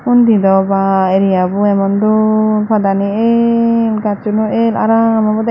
undi do ba areabo emon dol padani el gacchuno el aram obowde.